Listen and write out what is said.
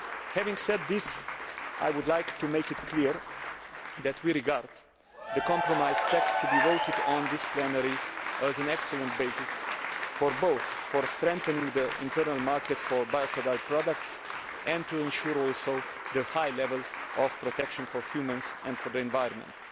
Having said this, I would like to make it clear that we regard the compromise text to be voted on during this plenary as an excellent basis, both for strengthening the internal market for biocidal products and for ensuring a high level of protection for humans and the environment.